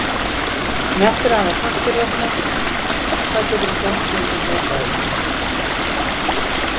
En eftir að hafa sagt þér þetta, hvað geturðu gert til að breyta þessu?